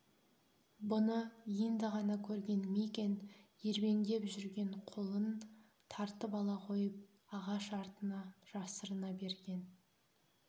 бұны енді ғана көрген мигэн ербеңдеп жүрген қолын тартып ала қойып ағаш артына жасырына берген